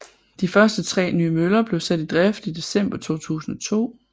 De første tre nye møller blev sat i drift i december 2002